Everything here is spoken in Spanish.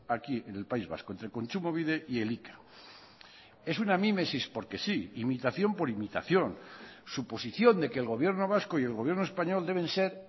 aquí en el país vasco entre kontsumobide y elika es una mimesis porque sí imitación por imitación suposición de que el gobierno vasco y el gobierno español deben ser